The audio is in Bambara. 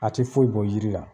A ti foyi bɔ jiri la